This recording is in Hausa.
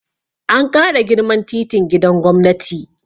An ƙara girman titin gidan gwamnati